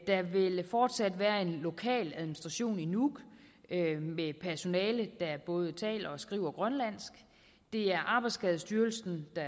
der vil fortsat være en lokal administration i nuuk med personale der både taler og skriver grønlandsk det er arbejdsskadestyrelsen der